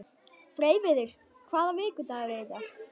Freyviður, hvaða vikudagur er í dag?